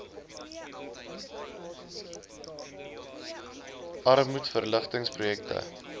armoedverlig tings projekte